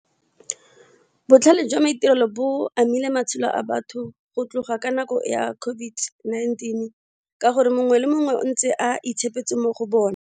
Botlhale jwa maitirelo bo amile matshelo a batho go tloga ka nako ya COVID-19 ka gore mongwe le mongwe o ntse a itshepetse mo go bona.